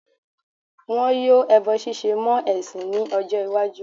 Wọn yóò ẹbọ ṣíṣe mọ́ ẹ̀sìn ní ọjọ́-ìwájú.